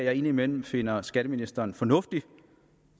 jeg indimellem finder skatteministeren fornuftig